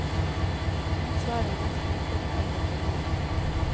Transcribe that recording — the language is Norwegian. Mitt svar var mest myntet på eldre kvinner.